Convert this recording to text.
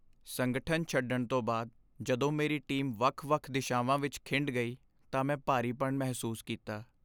ਸੰਗਠਨ ਛੱਡਣ ਤੋਂ ਬਾਅਦ ਜਦੋਂ ਮੇਰੀ ਟੀਮ ਵੱਖ ਵੱਖ ਦਿਸ਼ਾਵਾਂ ਵਿੱਚ ਖਿੰਡ ਗਈ ਤਾਂ ਮੈਂ ਭਾਰੀਪਣ ਮਹਿਸੂਸ ਕੀਤਾ